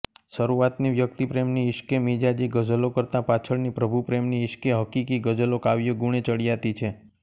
શરૂઆતની વ્યક્તિપ્રેમની ઈશ્કે મિજાજી ગઝલો કરતાં પાછળની પ્રભુપ્રેમની ઈશ્કે હકીકી ગઝલો કાવ્યગુણે ચડિયાતી છે